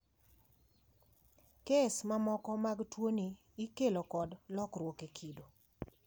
Kes mamoko mag tuoni ikelo kod lokruok e kido.